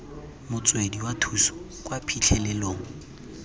motswedi wa thuso kwa phitlhelelong